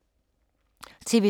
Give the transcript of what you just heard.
TV 2